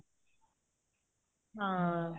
ਹਾਂ